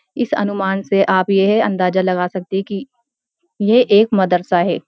इस अनुमान से आप यह अंदाजा लगा सकते है कि ये एक मदरसा है।